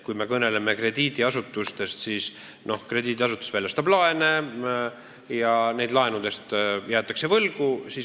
Kui me kõneleme krediidiasutustest, siis krediidiasutus väljastab laene ja neid laenusid jäädakse võlgu.